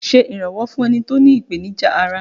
Ṣé iranwọ fún ẹni tó ní ìpènìjà ará!